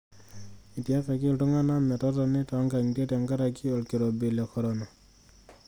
Etiakaki iltunganak metotoni toonkang'atie tenkaraki olkirobi le korona.